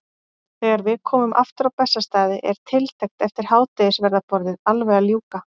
Þegar við komum aftur á Bessastaði er tiltekt eftir hádegisverðarboðið alveg að ljúka.